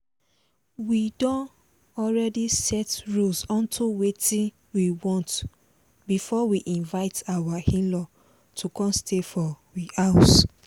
we don already set rules unto wetin we want before we invite our in-law to come stay for we house